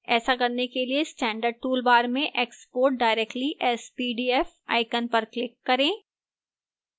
ऐसा करने के लिए standard toolbar में export directly as pdf icon पर click करें